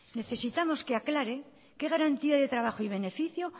necesitamos que aclare qué garantía de trabajo y beneficio